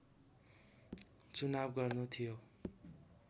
चुनाव गर्नु थियो